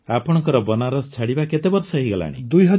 ଆପଣଙ୍କର ବନାରସ ଛାଡ଼ିବା କେତେବର୍ଷ ହେଇଗଲାଣି